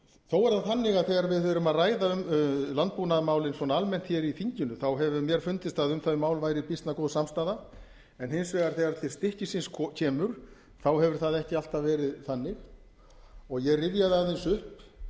þó er það þannig að þegar við erum að ræða um landbúnaðarmálin svona almennt hér í þinginu hefur mér fundist að um þau mál væri býsna góð samstaða en hins vegar þegar til stykkisins kemur hefur það ekki alltaf verið þannig ég rifjaði aðeins upp